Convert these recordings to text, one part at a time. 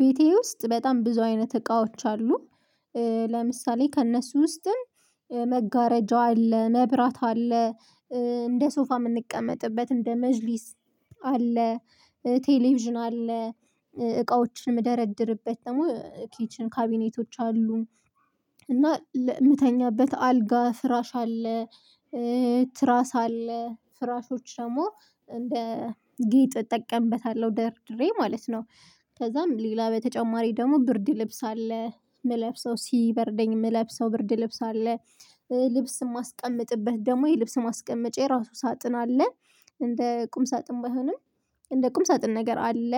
ቤቴ ውስጥ በጣም ብዙ አይነት እቃዎች አሉ። ለምሳሌ ከእነሱ ውስጥም መጋረጃው አለ መብራት አለ። እንደ ሶፋ የምንቀመጥበት እንደ መጅሊስ አለ። ቴሌቪዥን አለ እቃዎችን የምደረድርበት ደግሞ ኬችን ካቢኔቶች አሉ። እና የምተኛበት አልጋ ፍራሽ አለ። ትራስ አለ ፍራሾች ደግሞ እንደ ጌጥ እጠቀምበታለሁ ደርድሬ ማለት ነው። ከዛም ሌላ በተጨማሪ ደግሞ ብርድ ልብስ አለ የምለብሰው ሲበርደኝ የምለብሰው ብርድ ልብስ አለ። ልብስም የማስቀምጥበት ደግሞ የልብስ ማስቀመጫ የራሱ ሳጥን አለ። እንደ ቁም ሳጥን ባይሆንም እንደ ቁም ሳጥን ነገር አለ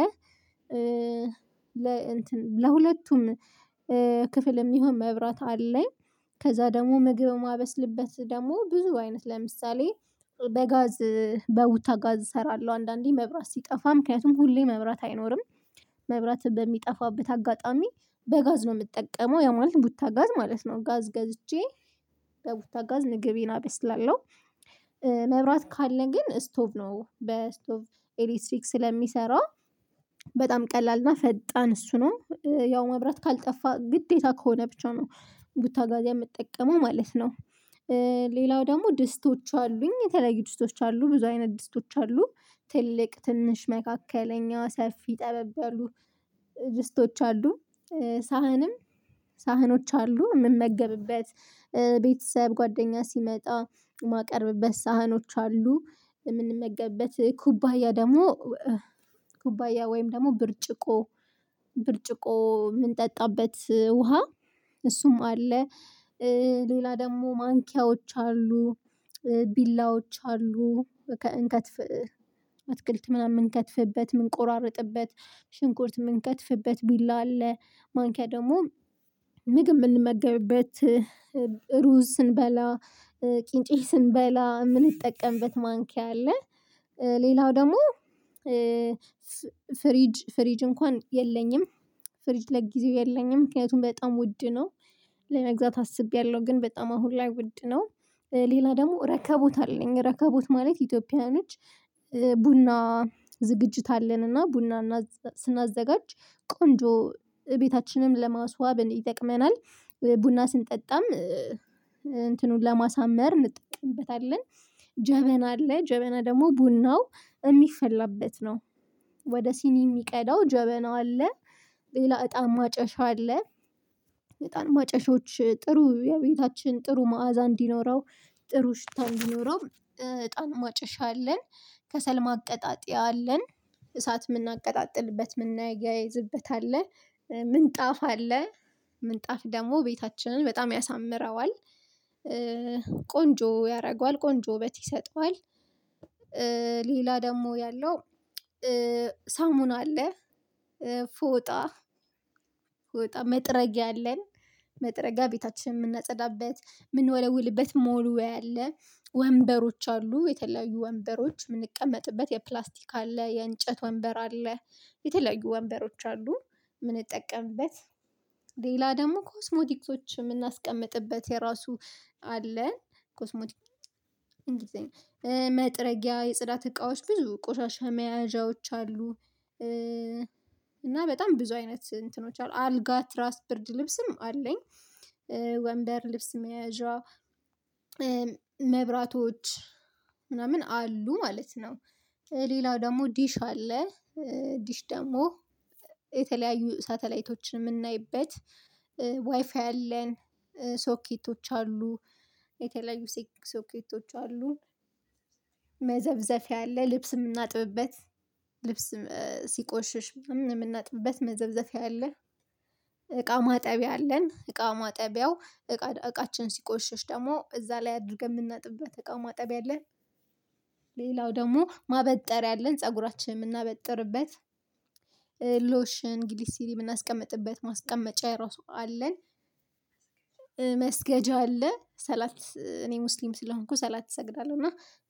ለ እንትን ለሁለቱም ክፍል የሚሆን መብራት አለኝ። ከዛ ደግሞ ምግብ የማበስልበት ደግሞ ብዙ አይነት ለምሳሌ በጋዝ በውታ ጋዝ እሰራለሁ አንዳንዴ መብራት ሲጠፋ ምክንያቱም ሁሌ መብራት አይኖርም። መብራት በሚጠፋበት አጋጣሚ በጋዝ ነው የምጠቀመው ያ ማለት ቡታ ጋዝ ማለት ነው ጋዝ ገዝቼ በቡታ ጋዝ ንግቤን አበስላለሁ። መብራት ካለ ግን ስቶቭ ነው በስቶቭ ኤሌክትሪክ ስለሚሰራ በጣም ቀላል እና ፈጣን እሱ ነው። ያው መብራት ካልጠፋ ግዴታ ከሆነ ብቻ ነው ቡታ ጋዝ የምጠቀመው ማለት ነው። ሌላው ደግሞ ድስቶች አሉኝ የተለየ ድስቶች አሉ ብዙ አይነት ድስቶች አሉ ትልቅ ትንሽ መካከለኛ ሰፊ ጠበብ ያሉ ድስቶች አሉ። ሳህንም ሳህኖች አሉ የምመገብበት ቤተሰብ ጓደኛ ሲመጣ የማቀርብበት ሳህኖች አሉ የምንመገብበት ኩባያ ደግሞ ኩባያ ወይም ደግሞ ብርጭቆ ብርጭቆ የምንጠጣበት ውሃ እሱም አለ። ሌላ ደግሞ ማንኪያዎች አሉ ቢላዎች አሉ ከእንከት አትክልት ምናምን የምንከትፍበት የምንቆራርጥበት ሽንኩርት የምንከትፍበት ቢላ አለ ማንኪያ ደግሞ ምግብ የምንመገብበት ሩዝ ስንበላ ቂንጬ ስንበላ የምንጠቀምበት ማንኪያ አለ። ሌላው ደግሞ ፍሪጅ ፍሪጅ እንኳን የለኝም ፍሪጅ ለጊዜው የለኝም ምክንያቱም በጣም ውድ ነው። ለመግዛት አስቤያለሁ ግን በጣም አሁን ላይ ውድ ነው። ሌላ ደግሞ ረከቦት አለኝ ረከቦት ማለት ኢትዮጵያኖች ቡና ዝግጅት አለን እና ቡና ስናዘጋጅ ቆንጆ ቤታችንን ለማስዋብ ይጠቅመናል። ቡና ስንጠጣም እንትኑን ለማሳመር እንጠቅብበታለን ጀበና አለ ጀበና ደግሞ ቡናው የሚፈላበት ነው። ወደ ሲኒ የሚቀዳው ጀበና አለ ሌላ እጣን ማጨሻ አለ። እጣን ማጨሻዎች ጥሩ የቤታችን ጥሩ መዓዛ እንዲኖረው ጥሩ ሽታ እንዲኖረው እጣን ማጨሻ አለን። ከሰል ማቀጣጥያ አለን እሳት የምናቀጣጥልበት የምናያይዝበት አለ ምንጣፍ አለ ምንጣፍ ደግሞ ቤታችንን በጣም ያሳምረዋል። ቆንጆ ያደርገዋል ቆንጆ ወበት ይሰጠዋል። ሌላ ደግሞ ያለው ሳሙና አለ። ፎጣ ፎጣ መጥረጊያ አለን መጥረጊያ ቤታችን የምናጸዳበት የምንወለውልበት መወልወያ አለ። ወንበሮች አሉ የተለያዩ ወንበሮች የምንቀመጥበት የፕላስቲክ አለ የእንጨት ወንበር አለ የተለያዩ ወንበሮች አሉ። የምንጠቀምበት ሌላ ደግሞ ኮስሞቲክሶች የምናስቀምጥበት የራሱ አለ ኮስሞቲክስ እንግሊዘኛ መጥረጊያ የጽዳት እቃዎች ብዙ ቆሻሻ መያዣዎች አሉ። እና በጣም ብዙ አይነት እንትኖች አሉ አልጋ ትራስ ብርድ ልብስም አለኝ። ወንበር ልብስ መያዣ መብራቶች ምናምን አሉ ማለት ነው። ሌላው ደግሞ ዲሽ አለ። ዲሽ ደግሞ የተለያዩ ሳተላይቶችን የምናይበት ዋይፋይ አለን ሶኬቶች አሉ የተለያዩ ሶኬቶች አሉ። መዘብዘፊያ አለ ልብስ የምናጥብበት ሲቆሽሽ ምናምን የምናጥብበት መዘብዘቢያ አለ። እቃ ማጠቢያ አለን እቃ ማጠቢያው እቃ እቃችን ሲቆሸሽ ደግሞ እዛ ላይ አድርገን የምናጥብበት እቃ ማጠቢያ አለን ደግሞ ማበጠሪያ አለን ፀጉራችንን የምናበጥርበት ሎሽን ግሪስሊ የምናስቀምጥበት ማስቀመጫ የራሱ አለን። መስገጃ አለ ሰላት እኔ ሙስሊም ስለሆንኩ ሰላት እሰግዳለሁ እና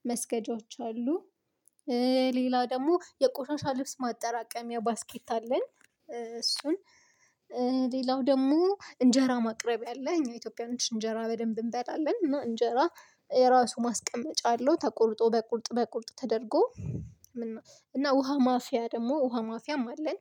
መስገጃዎች አሉ። ሌላ ደግሞ የቆሻሻ ልብስ ማጠራቀሚያ ባስኬት አለን። እሱን ሌላው ደግሞ እንጀራ ማቅረብ ያለ እኛ ኢትዮጵያኖች እንጀራ በደንብ እንበላለን እና እንጀራ ራሱ ማስቀመጫ አለው ተቆርጦ በቁርጥ ተደርጎ። እና ውሃ ማፍያ ደግሞ ውሃ ማፍያም አለን።